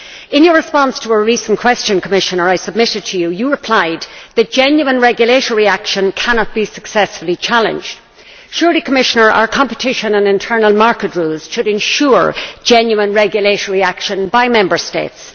In your response to a recent question which I submitted to you, Commissioner, you replied that genuine regulatory action cannot be successfully challenged. Surely, Commissioner, our competition and internal market rules should ensure genuine regulatory action by Member States.